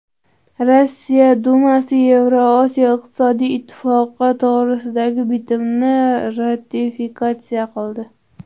Rossiya Dumasi Yevrosiyo iqtisodiy ittifoqi to‘g‘risidagi bitimni ratifikatsiya qildi.